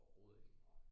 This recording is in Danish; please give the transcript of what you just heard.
Overhovedet ikke